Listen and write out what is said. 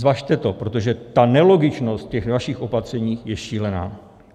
Zvažte to, protože ta nelogičnost ve vašich opatřeních je šílená.